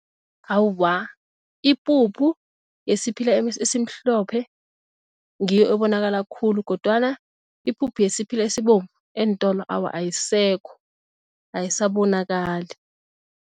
Awa, ipuphu yesiphila esimhlophe ngiyo ebonakala khulu kodwana ipuphu yesiphila esibovu eentolo awa ayisekho ayisabonakala.